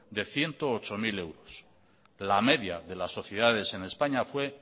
de ciento ocho mil euros la media de las sociedades en españa fue